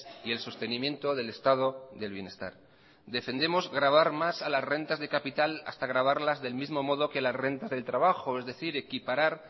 y el sostenimiento del estado del bienestar defendemos gravar más a las rentas de capital hasta gravarlas del mismo modo que las rentas del trabajo es decir equiparar